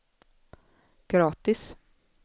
gratis